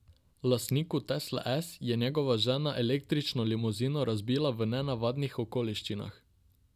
Lastniku tesle S je njegova žena električno limuzino razbila v nenavadnih okoliščinah.